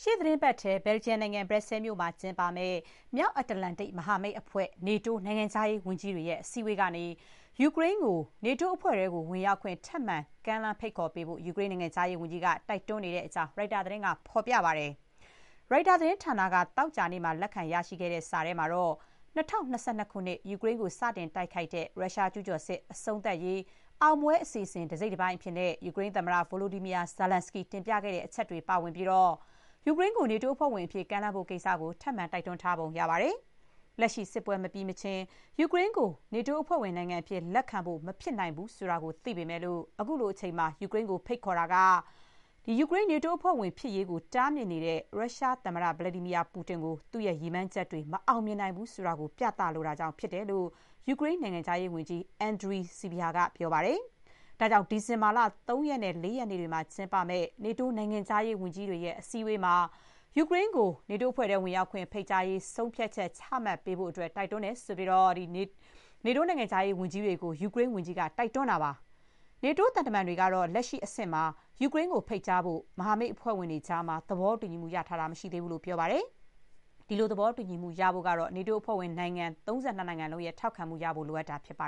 ေ့သီတင်းပတ်ထဲ ဘယ်လ်ဂျီယံနိုင်ငံ ဘရက်ဆဲလ်မြို့မှာ ကျင်းပမယ့် မြောက်အန္တလတ္တိတ် မဟာမိတ်အဖွဲ့ NATO နိုင်ငံခြားရေးဝန်ကြီးတွေရဲ့ အစည်းအဝေးကနေ ယူကရိန်းကို နေတိုးအဖွဲ့ထဲ ဝင်ရောက်ခွင့် ထပ်မံ ကမ်းလှမ်းပေးဖို့ ယူကရိန်း နိုင်ငံခြားရေးဝန်ကြီးက တိုက်တွန်းနေတဲ့ အကြောင်း ရိုက်တာသတင်းက ဖော်ပြပါတယ်။ ရိုက်တာသတင်းဌာနက သောကြာနေ့မှာ လက်ခံရရှိခဲ့တဲ့ စာထဲမှာ − ၂၀၂၂ ခုနှစ် ယူကရိန်းကို စတင်တိုက်ခိုက်တဲ့ ရုရှား ကျူးကျော်စစ် အဆုံးသတ်ရေး “အောင်ပွဲအစီအစဥ် တစိတ်တပိုင်း” အဖြစ် ယူကရိန်းသမ္မတ Volodymyr Zelenskiy တင်ပြခဲတဲ့ အချက်တွေ ပါဝင်ပြီး ယူကရိန်းကို နေတိုးအဖွဲ့ဝင်အဖြစ် ကမ်းလှမ်းဖို့ ကိစ္စကို ထပ်မံ တိုက်တွန်းထားပုံ ရပါတယ်။ လက်ရှိ စစ်ပွဲ မပြီးမချင်း ယူကရိန်းကို နေတိုး မဟာမိတ် အဖွဲ့ဝင်နိုင်ငံအဖြစ် လက်ခံဖို့ မဖြစ်နိုင်ဘူး ဆိုတာ သိပေမဲ့ ခုလိုအချိန်မှာ ယူကရိန်းကို ဖိတ်ခေါ်တာက ယူကရိန်း နေတိုးအဖွဲ့ဝင်ဖြစ်ရေးကို တားမြစ်နေတဲ့ ရုရှား သမ္မတ Vladimir Putin ကို သူ့ရဲ့ ရည်မှန်းချက်တွေ မအောင်မြင်နိုင်ဘူး ဆိုတာ ပြသလိုတာကြောင့် ဖြစ်တယ်လို့ ယူကရိန်း နိုင်ငံခြားရေးဝန်ကြီး Andrii Sybiha က ပြောပါတယ်။ ဒါကြောင့် ဒီဇင်ဘာ ၃ ရက်နဲ့ ၄ ရက်နေ့တွေမှာ ကျင်းပမယ့် နေတိုး နိုင်ငံခြားရေးဝန်ကြီးတွေရဲ့ အစည်းအဝေးမှာ ယူကရိန်းကို နေတိုးအဖွဲ့ထဲ ဝင်ရောက်ခွင့် ဖိတ်ကြားရေး ဆုံးဖြတ်ချက် ချမှတ်ပေးဖို့ တိုက်တွန်းပါကြောင်း နေတိုး နိုင်ငံခြားရေးဝန်ကြီးတွေကို ယူကရိန်းဝန်ကြီးက တိုက်တွန်းထားပါတယ်။ နေတိုး သံတမန်တွေကတော့ လက်ရှိအဆင့်မှာ ယူကရိန်းကို ဖိတ်ကြားဖို့ မဟာမိတ်အဖွဲ့ဝင်တွေကြား သဘောတူညီမှု ရထားတာ မရှိသေးကြောင်း ပြောပါတယ်။ ဒီလို သဘောတူညီမှု ရဖို့က နေတိုးအဖွဲ့ဝင် နိုင်ငံ ၃၂ နိုင်ငံလုံးရဲ့ ထောက်ခံမှုရဖို့ လိုအပ်တာ ဖြစ်ပါ